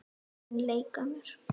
Mun leika mér.